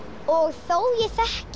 og þó ég þekki